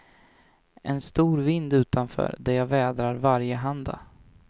En stor vind utanför, där jag vädrar varjehanda.